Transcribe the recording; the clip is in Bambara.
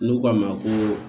N'u k'a ma koo